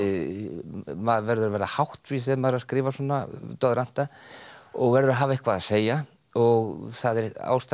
maður verður að vera háttvís þegar maður er að skrifa svona doðranta og verður að hafa eitthvað að segja og það er ástæðan